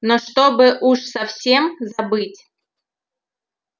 но чтобы уж совсем забыть